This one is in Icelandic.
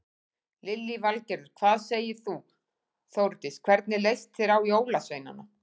Lillý Valgerður: Hvað segir þú Þórdís, hvernig leist þér á jólasveinana?